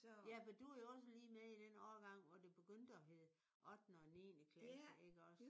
Ja for du er jo også lige med i den årgang hvor det begyndte at hedde ottende og niende klasse iggås?